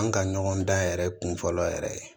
An ka ɲɔgɔn dan yɛrɛ kunfɔlɔ yɛrɛ ye